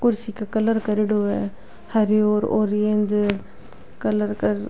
कुर्सी का कलर करेडो है हरयो और ऑरेंज कलर कर --